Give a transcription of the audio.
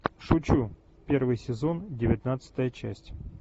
шучу первый сезон девятнадцатая часть